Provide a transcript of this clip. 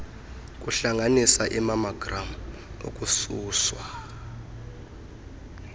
kuhlanganisa imammogram ukususwa